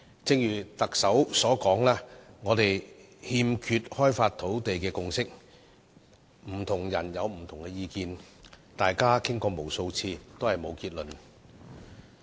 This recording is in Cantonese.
正如特首所說，我們欠缺開發土地的共識，不同人持不同意見，大家已就此討論了無數次，但最終也未能得出結論。